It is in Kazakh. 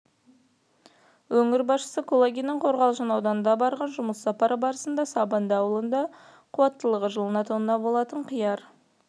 өңір басшысы кулагиннің қорғалжын ауданына барған жұмыс сапары барысында сабынды ауылында қуаттылығы жылына тонна болатын қияр